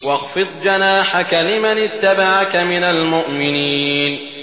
وَاخْفِضْ جَنَاحَكَ لِمَنِ اتَّبَعَكَ مِنَ الْمُؤْمِنِينَ